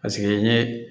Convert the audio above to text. Paseke n ye